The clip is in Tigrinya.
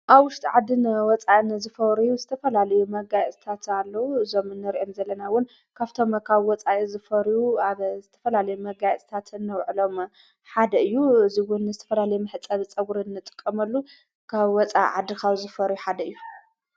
ኣብ ሽተ ዓድን ወፃእን ዝፈወርዩ ዝተፈላልዩ መጋይ እዝታት ኣለዉ ዞምንርእዮም ዘለናውን ካብቶም ካብ ወፃኢ ዝፈርዩ ኣብ ዝተፈላለዩ መጋይ እስታትን ውዕሎም ሓደ እዩ እዙይውን ስተፈላለ ምሕጸ ጸዉርኒ ጥቀመሉ ካብ ወፃ ዓድኻዊ ዝፈርዩ ሓደ እዩ።